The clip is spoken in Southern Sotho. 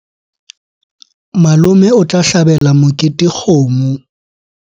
Malome o tla hlabela mokete kgomo.